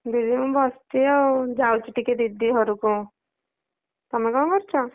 ଦିଦି ମୁଁ ବସିଚି ଆଉ ଯାଉଚି ଟିକେ ଦିଦି ଘରକୁ ତମେ କଣ କରୁଚ?